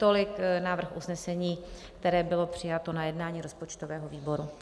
Tolik návrh usnesení, které bylo přijato na jednání rozpočtového výboru.